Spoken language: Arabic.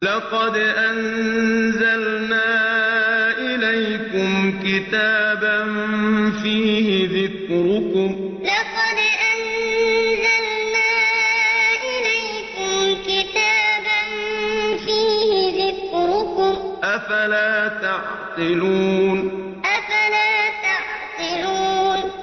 لَقَدْ أَنزَلْنَا إِلَيْكُمْ كِتَابًا فِيهِ ذِكْرُكُمْ ۖ أَفَلَا تَعْقِلُونَ لَقَدْ أَنزَلْنَا إِلَيْكُمْ كِتَابًا فِيهِ ذِكْرُكُمْ ۖ أَفَلَا تَعْقِلُونَ